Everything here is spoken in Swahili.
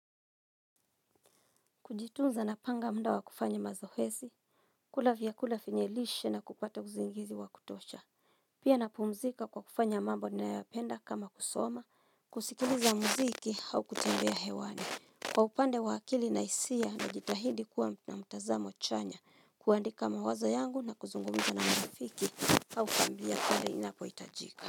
Kujitunza napanga mda wa kufanya mazoezi kula vyakula vyenye lishe na kupata uzingizi wa kutosha Pia napumzika kwa kufanya mambo ninayoyapenda kama kusoma kusikiliza mziki au kutembea hewani Kwa upande wa akili na hisia najitahidi kuwa na mtazamo chanya kuandika mawazo yangu na kuzungumza na marafiki au kambia pale inapoitajika.